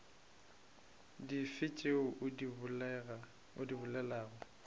dife tšeo o di bolelago